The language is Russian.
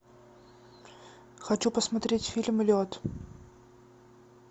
хочу посмотреть фильм лед